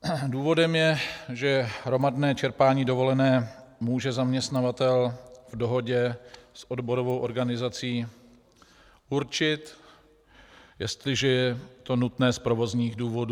Důvodem je, že hromadné čerpání dovolené může zaměstnavatel v dohodě s odborovou organizací určit, jestliže je to nutné z provozních důvodů.